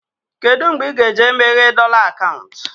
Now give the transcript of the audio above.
Kedụ mgbe ị ga eje meghee dọla akaụntụ?